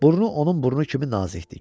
Burnu onun burnu kimi nazikdir.